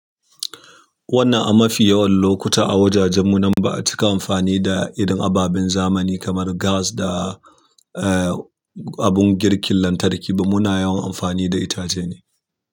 Wannan a mafi yawan lokuta a wajajen mu nan ba a cika amfani da irin ababen zamani kamar gas da, eh, abun girkin lantarki ba. Muna yawan amfani da itace ne.